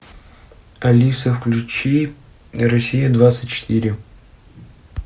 алиса включи россия двадцать четыре